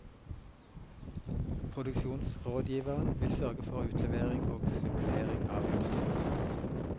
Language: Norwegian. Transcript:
Produksjonsrådgiveren vil sørge for utlevering og supplering av utstyr.